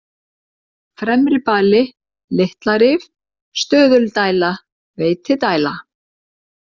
Fremribali, Litlarif, Stöðuldæla, Veitidæla